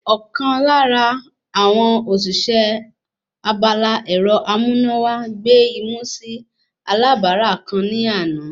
Ọ̀kan lára àwọn òṣìṣẹ́ abala ẹ̀rọ amúnáwá gbé imú sí alábàárà kan ní àná